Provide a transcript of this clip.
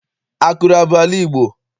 Akure abụ ala Igbo?